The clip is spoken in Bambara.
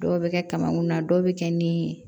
Dɔw bɛ kɛ kamankun na dɔw bɛ kɛ ni